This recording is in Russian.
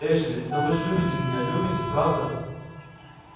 эшли но вы же любите меня любите правда